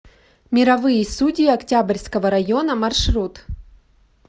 мировые судьи октябрьского района маршрут